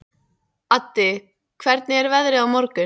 Addi, hvernig er veðrið á morgun?